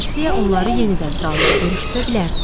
Qarsiya onları yenidən Raullə görüşdürə bilərdi.